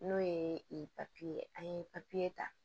N'o ye ye an ye ta